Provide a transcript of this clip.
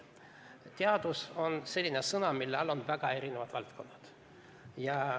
"Teadus" on selline sõna, mille all on väga erinevad valdkonnad.